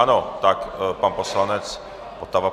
Ano, tak pan poslanec Votava.